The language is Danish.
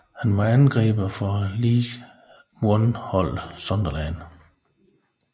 Han er angriber for League one holdet Sunderland